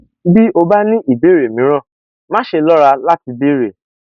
bí o bá ní ìbéèrè mìíràn máṣe lọra láti béèrè